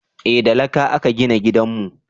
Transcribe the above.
eh da laƙa a ka gina gidanmu